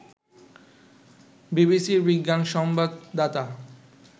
বিবিসির বিজ্ঞান সংবাদদাতা